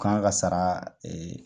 K'an ka sara